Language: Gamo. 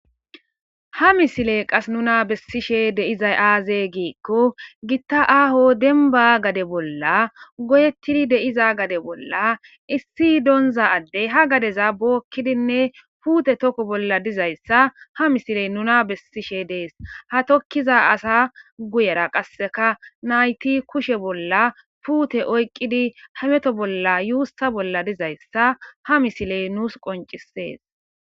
ha misile qas nuna bessishe deizay aaze giikko gitta aaho denba gade bolla goyettidi deiza gade bolla issi doonza addey ha gadeza bookkidinne puute toko bolla dizayssa ha misiley nuna bessishe dees ha tokkiza asa guyera qasseka nayti kushe bolla puute oyqqidi hameto bolla yuussa bolla dizayssa ha misiley nuus qoncisees